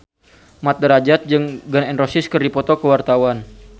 Mat Drajat jeung Gun N Roses keur dipoto ku wartawan